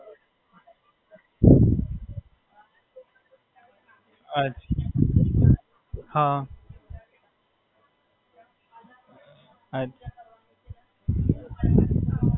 અચ્છા, હાં.